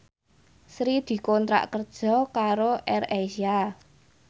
Sri dikontrak kerja karo AirAsia